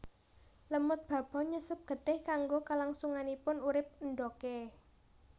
Lemud babon nyesep getih kanggo kalangsunganing urip endhogé